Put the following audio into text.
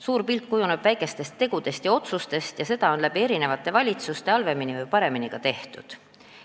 Suur pilt kujuneb väikestest tegudest ja otsustest ning seda on eri valitsuste ajal halvemini või paremini tehtud.